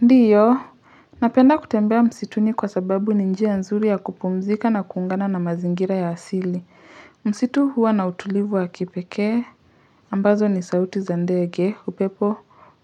Ndio, napenda kutembea msituni kwa sababu ni njia nzuri ya kupumzika na kuungana na mazingira ya asili. Msitu huwa na utulivu wa kipeke, ambazo ni sauti za ndege, upepo,